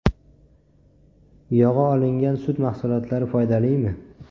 Yog‘i olingan sut mahsulotlari foydalimi?.